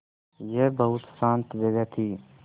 यह बहुत शान्त जगह थी